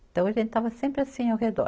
Então, a gente estava sempre assim ao redor.